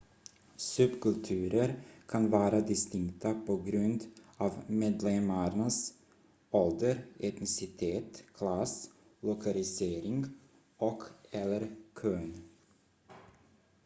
subkulturer kan vara distinkta på grund av medlemmarnas ålder etnicitet klass lokalisering och/eller kön